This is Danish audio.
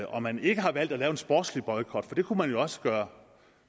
og man ikke har valgt at lave en sportslig boykot for det kunne man jo også gøre